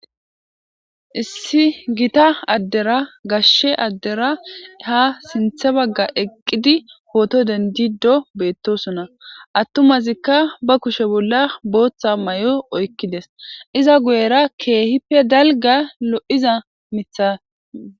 Issi gita addera gashshe addera ha sinthe bagga eqqidi hooto dendido beettosona attumazikka ba kushe bolla booththa may7o oykkides iza guyera keehippe dalga lo7iza mitha.